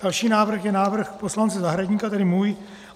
Další návrh je návrh poslance Zahradníka, tedy můj.